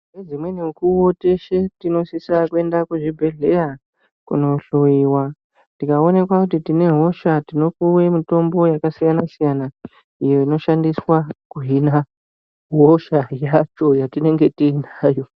Nedzimweni mukuwo tinosise kuende kuzvibhehleya kunohloyiwa tikaonekwa kuti tinehosha tinopuwe mitombo yakasiyana siyana inoshandiswe kuhine hosha yatinenge tinayo.